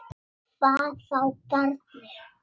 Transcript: Hvað þá barni.